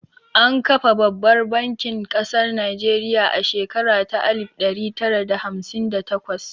An kafa babbar bankin ƙasar Najeriya a shekara ta alif ɗari tara da hamsin da takwas